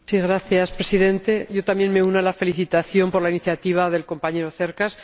Señor Presidente, yo también me uno a la felicitación por la iniciativa del compañero Cercas.